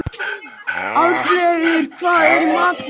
Aðalbergur, hvað er í matinn?